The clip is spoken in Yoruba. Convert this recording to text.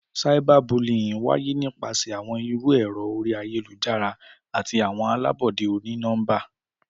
Cyberbullying waye nipasẹ awọn iru ẹrọ ori ayelujara ati awọn alabọde oni-nọmba.